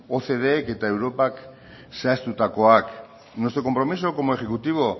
ocdk eta europak zehaztutakoak nuestro compromiso como ejecutivo